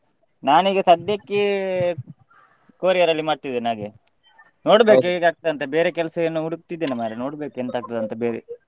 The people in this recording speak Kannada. ನಾನು ಈಗ ಸದ್ಯಕ್ಕೆ courier ಅಲ್ಲಿ ಮಾಡ್ತಿದ್ದೇನೆ ಹಾಗೆ ನೋಡ್ಬೇಕು ಹೇಗೆ ಆಗ್ತದೆ ಅಂತ ಬೇರೆ ಕೆಲ್ಸ ಏನು ಹುಡುಕ್ತಿದ್ದೇನೆ ಮಾರ್ರೆ ನೋಡ್ಬೇಕು ಎಂತ ಆಗ್ತದೆ ಅಂತ ಬೇರೆ.